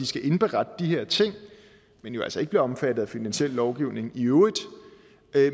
skal indberette de her ting men jo altså ikke bliver omfattet af finansiel lovgivning i øvrigt